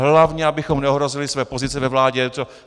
Hlavně abychom neohrozili své pozice ve vládě.